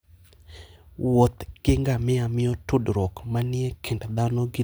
Wuoth gi ngamia miyo tudruok manie kind dhano gi le bedo motegno.